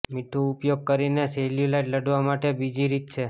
મીઠું ઉપયોગ કરીને સેલ્યુલાઇટ લડવા માટે બીજી રીત છે